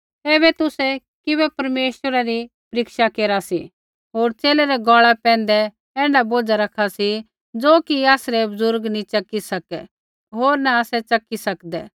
ऐबै तुसै किबै परमेश्वरै री परीक्षा केरा सी होर च़ेले रै गौल़ा पैंधै ऐण्ढा बोझ़ा रखा सी ज़ो कि आसरै बुज़ुर्ग नी च़की सकै होर न आसै च़की सकदै